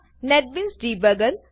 NetBeans debugger